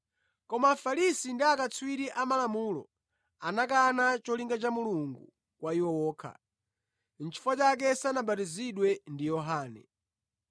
Koma Afarisi ndi akatswiri amalamulo anakana cholinga cha Mulungu kwa iwo okha, chifukwa sanabatizidwe ndi Yohane.